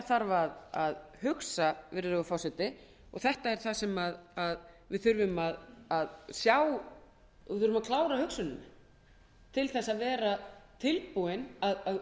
þarf að hugsa virðulegi forseti og við verðum að klára hugsunina til þess að vera tilbúin og til þess að